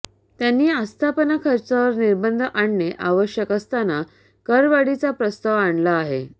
त्यांनी आस्थापना खर्चावर निर्बंध आणणे आवश्यक असताना करवाढीचा प्रस्ताव आणला आहे